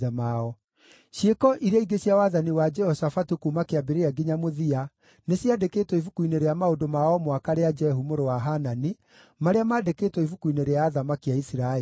Ciĩko iria ingĩ cia wathani wa Jehoshafatu kuuma kĩambĩrĩria nginya mũthia, nĩciandĩkĩtwo ibuku-inĩ rĩa maũndũ ma o mwaka rĩa Jehu mũrũ wa Hanani, marĩa mandĩkĩtwo ibuku-inĩ rĩa athamaki a Isiraeli.